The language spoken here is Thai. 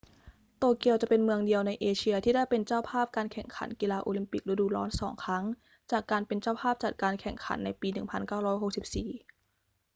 โตเกียวจะเป็นเมืองเดียวในเอเชียที่ได้เป็นเจ้าภาพการแข่งขันกีฬาโอลิมปิกฤดูร้อนสองครั้งจากการเป็นเจ้าภาพจัดการแข่งขันในปี 1964